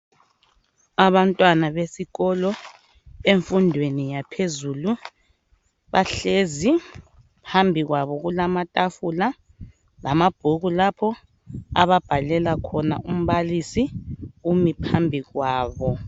Abantwana besikolo emfundweni yaphezulu bahlezi phambi kwabo kulamatafula lamabhuku lapho ababhalela khona umbalisi umi phambi kwabo.